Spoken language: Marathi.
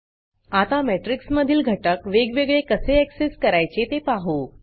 आता matrixमेट्रिक्स मधील घटक वेगवेगळे कसे accessआक्सेस करायचे ते पाहू